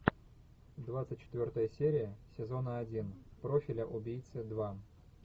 двадцать четвертая серия сезона один профиля убийцы два